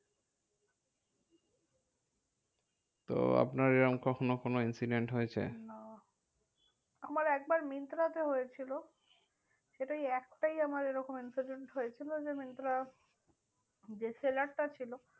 তো আপনার এরম কখনো কোনো incident হয়েছে? না আমার একবার মিন্ত্রা তে হয়েছিল। সেটাই একটাই আমার এরকম incident হয়েছিল যে মিন্ত্রা যে seller টা ছিল,